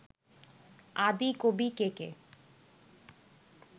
আদি কবি কে কে